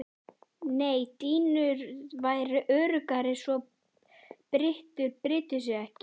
Nei dýnur væru öruggari svo bytturnar brytu sig ekki.